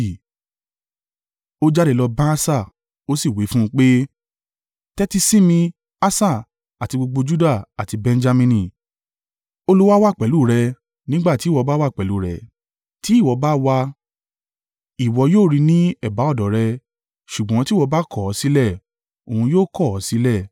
Ó jáde lọ bá Asa, ó sì wí fún un pé, “Tẹ́tí si mi Asa, àti gbogbo Juda àti Benjamini. Olúwa wà pẹ̀lú rẹ, nígbà tí ìwọ bá wà pẹ̀lú rẹ̀. Ti ìwọ bá wá a, ìwọ yóò rí i ní ẹ̀bá ọ̀dọ̀ rẹ ṣùgbọ́n tí ìwọ bá kọ̀ ọ́ sílẹ̀, òun yóò kọ̀ ọ́ sílẹ̀.